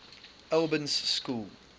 albans school